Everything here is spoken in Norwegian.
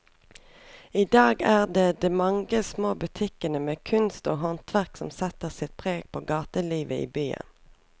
I dag er det de mange små butikkene med kunst og håndverk som setter sitt preg på gatelivet i byen.